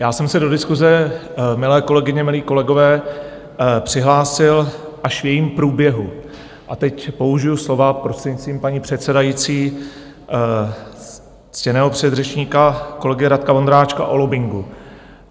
Já jsem se do diskuse, milé kolegyně, milí kolegové, přihlásil až v jejím průběhu a teď použiji slova, prostřednictvím paní předsedající, ctěného předřečníka kolegy Radka Vondráčka, o lobbingu.